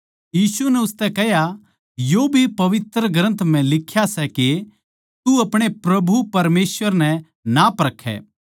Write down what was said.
यीशु नै उसतै कह्या यो भी पवित्र ग्रन्थ म्ह लिख्या सै के तू अपणे प्रभु परमेसवर नै ना परखै